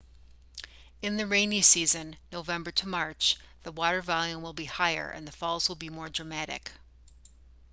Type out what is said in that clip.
in the rainy season november to march the water volume will be higher and the falls will be more dramatic